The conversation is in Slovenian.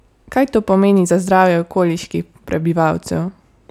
Kaj to pomeni za zdravje okoliških prebivalcev?